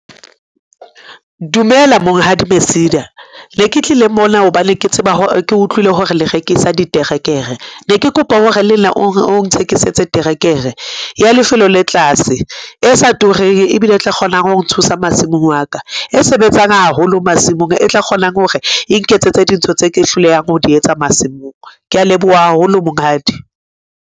Dumela Monghadi Mesida. Ne ke tlile mona hobane ke utlwile hore le rekisa diterekere. Ne ke kopa hore lenna o nthekisetse terekere ya lefelo le tlase, e sa tureng, ebile e tla kgonang ho nthusa masimong wa ka. E sebetsang haholo masimong, e tla kgonang hore e nketsetse dintho tse ke hlolehang ho di etsa masimong. Kea leboha haholo, Monghadi.